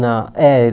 Na é